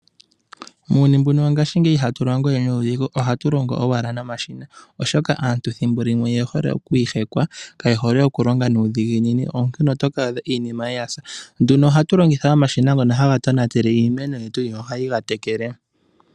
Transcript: Muuyuni mbuno wo ngashingeyi iha tu longo we nuudhigu. Oha tu longo, owala nomashina, osho aantu thimbolimwe oye hole okwiihekwa, kaye hole oku longa nuudhiginini onkene oto ka adha iimeno ya sa. Oha tu longitha omashina ngono ha ga tonatele iimeno, no ha yi ga tekele.